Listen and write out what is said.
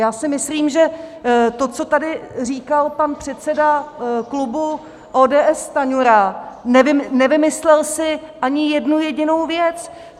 Já si myslím, že to, co tady říkal pan předseda klubu ODS Stanjura, nevymyslel si ani jednu jedinou věc.